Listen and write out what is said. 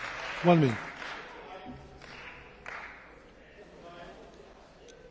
Pane předsedající, já nepatřím k zelené inkvizici, o které tady hovořil